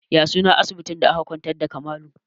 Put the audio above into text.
Ya sunan asibitin da aka kwantar da Kamalu?